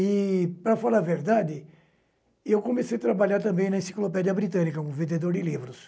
E, para falar a verdade, eu comecei a trabalhar também na Enciclopédia Britânica como vendedor de livros.